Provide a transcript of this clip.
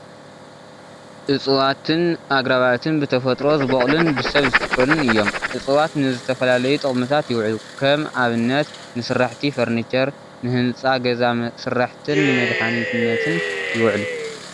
እፀዋትን ኣግራባትን ብተፈጥሮ ዝበቑሉን ብሰብ ዝትከሉን እዮም፡፡ እፀዋት ንዝተፈላለዩ ጥቅምታት ይውዕሉ፡፡ ከም ኣብነት ንስራሕቲ ፈርኒቸር፣ ንህንፃ ገዛ ስራሕትን ንመድሓኒትነትን ይውዕሉ፡፡